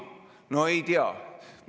No ei tea!